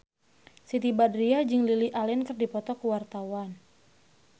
Siti Badriah jeung Lily Allen keur dipoto ku wartawan